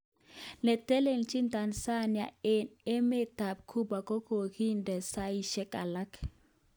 Netelelchin Tanzania eng emetab Cuba kokokinde saishek alak